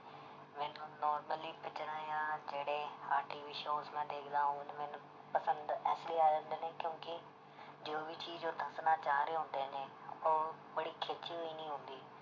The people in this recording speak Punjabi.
ਮੈਨੂੰ normally ਪਿਕਚਰਾਂ ਜਾਂ ਜਿਹੜੇ ਆਹ TV shows ਮੈਂ ਦੇਖਦਾ ਮੈਨੂੰ ਪਸੰਦ ਇਸ ਲਈ ਆ ਜਾਂਦੇ ਨੇ ਕਿਉਂਕਿ ਜੋ ਵੀ ਚੀਜ਼ ਉਹ ਦੱਸਣਾ ਚਾਹ ਰਹੇ ਹੁੰਦੇ ਨੇ ਉਹ ਬੜੀ ਹੋਈ ਨੀ ਆਉਂਦੀ